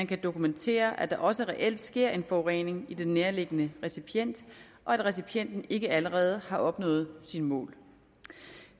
kan dokumenteres at der også reelt sker en forurening i den nærliggende recipient og at recipienten ikke allerede har opnået sine mål